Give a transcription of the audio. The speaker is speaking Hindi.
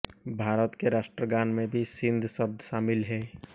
भारत के राष्ट्रगान में भी सिंध शब्द शामिल है